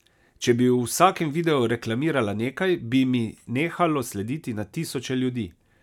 Če bi v vsakem videu reklamirala nekaj, bi mi nehalo slediti na tisoče ljudi.